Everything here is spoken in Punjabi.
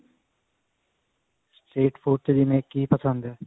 street food ਚ ਜਿਵੇਂ ਕੀ ਪਸੰਦ ਹੈ